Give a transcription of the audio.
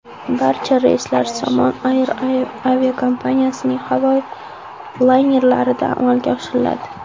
Barcha reyslar Somon Air aviakompaniyasining havo laynerlarida amalga oshiriladi.